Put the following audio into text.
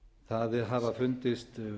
það hafa fundist